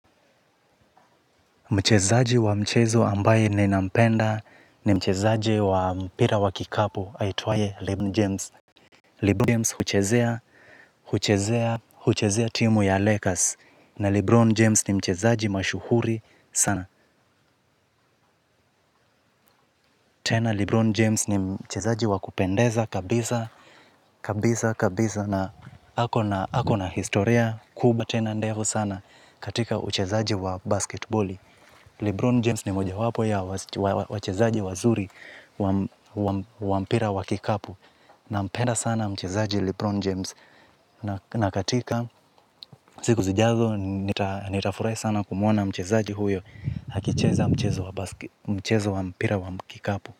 Mchezaji wa mchezo ambaye ninampenda ni mchezaji wa mpira wa kikapu aitwaye Lebron James. Lebron James huchezea timu ya Lakers na Lebron James ni mchezaji mashuhuri sana. Tena Lebron James ni mchezaji wa kupendeza kabisa, kabisa, kabisa na ako na historia kubwa tena ndefu sana katika uchezaji wa basketiboli. Lebron James ni mojawapo ya wachezaji wazuri wa mpira wa kikapu. Nampenda sana mchezaji Lebron James. Na katika, sikun zijazo, nitafurahi sana kumuona mchezaji huyo akicheza mchezo wa mpira wa kikapu.